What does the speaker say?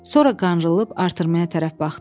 Sonra qırılıb artırmaya tərəf baxdı.